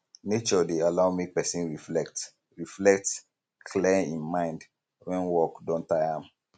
nature dey allow make pesin reflect reflect clear im mind wen work don taya am